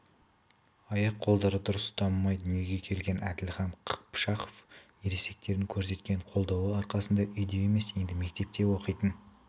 аяқ-қолдары дұрыс дамымай дүниеге келген әділхан қыпшақов ересектердің көрсеткен қолдауы арқасында үйде емес енді мектепте оқитын